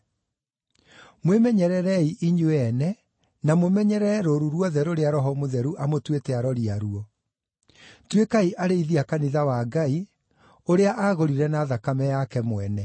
Mwĩmenyererei inyuĩ ene, na mũmenyerere rũũru ruothe rũrĩa Roho Mũtheru amũtuĩte arori aruo. Tuĩkai arĩithi a kanitha wa Ngai, ũrĩa aagũrire na thakame yake mwene.